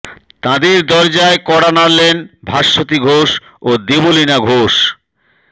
তাঁদের দরজায় কড়া নাড়লেন ভাস্বতী ঘোষ ও দেবলীনা ঘোষ